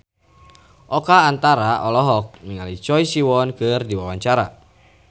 Oka Antara olohok ningali Choi Siwon keur diwawancara